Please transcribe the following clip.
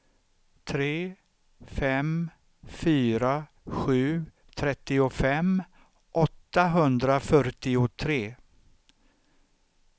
tre fem fyra sju trettiofem åttahundrafyrtiotre